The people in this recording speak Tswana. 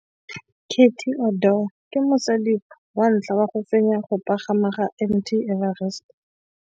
Cathy Odowd ke mosadi wa ntlha wa go fenya go pagama ga Mt Everest.